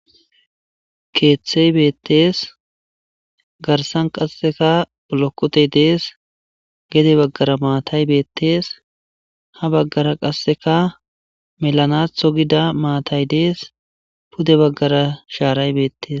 Keeththey beettees garsan qasseka olokote dees gede baggara maatay beettees ha baggara qasseka melanatho gida maatay dees pude baggara shaaray beettes.